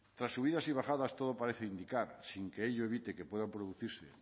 tras subidas y bajadas todo parece indicar sin que ello evite que puedan producirse